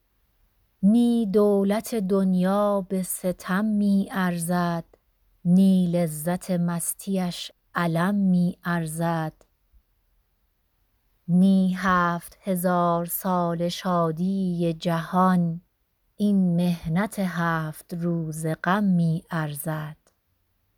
نی دولت دنیا به ستم می ارزد نی لذت مستی اش الم می ارزد نه هفت هزار ساله شادی جهان این محنت هفت روزه غم می ارزد